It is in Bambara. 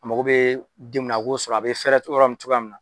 A mago bɛ den mun na a k'o sɔrɔ a bɛ fɛɛrɛ ɲɔrɔ min cogoya min na